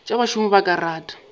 tša bašomi ba ka rata